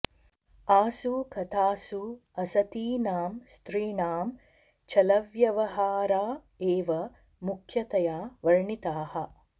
आसु कथासु असतीनां स्त्रीणां छलव्यवहारा एव मुख्यतया वर्णिताः